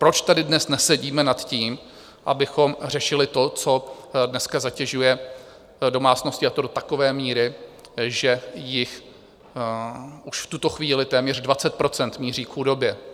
Proč tady dnes nesedíme nad tím, abychom řešili to, co dneska zatěžuje domácnosti, a to do takové míry, že jich už v tuto chvíli téměř 20 % míří k chudobě?